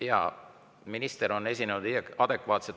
Jaa, minister on esinenud adekvaatselt.